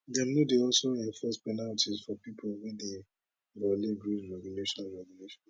dem no dey also enforce penalties for pipo wey dey violate grid regulations regulations